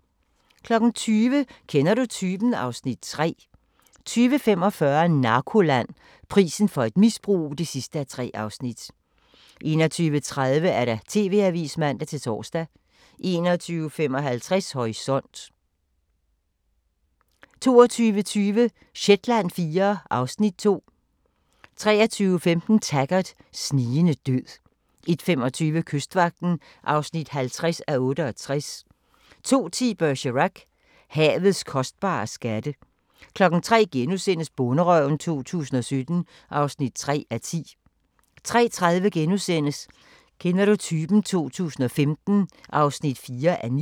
20:00: Kender du typen? (Afs. 3) 20:45: Narkoland - Prisen for et misbrug (3:3) 21:30: TV-avisen (man-tor) 21:55: Horisont 22:20: Shetland IV (Afs. 2) 23:15: Taggart: Snigende død 01:25: Kystvagten (50:68) 02:10: Bergerac: Havets kostbare skatte 03:00: Bonderøven 2017 (3:10)* 03:30: Kender du typen? 2015 (4:9)*